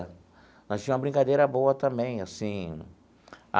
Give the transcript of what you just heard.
Nós tinha uma brincadeira boa também assim.